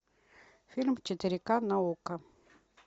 фильм в четыре ка на окко